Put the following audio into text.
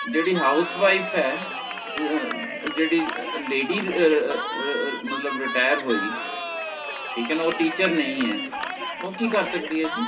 ਜੇਹੜੀ house wife ਹੈ ਅਹ ਜੇਹੜੀ ਅਹ ladies ਅਹ ਅਹ ਮਤਲਬ Retire ਹੂਯੀ ਠੀਕ ਹੈ ਨਾ ਓਹ teacher ਨੀ ਹੈ ਓਹ ਕੀ ਕਰ ਸਕਦੀ ਹੈ ਜੀ